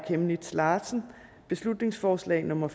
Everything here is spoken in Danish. chemnitz larsen beslutningsforslag nummer